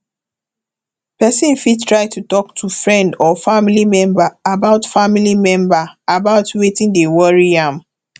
pesin fit try talk to friend or family member about family member about weti dey worry am